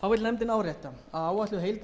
þá vill nefndin árétta að áætluð heildarálagning eftirlitsgjalds fyrir